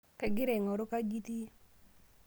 Kaagira aing'oru kaji itii?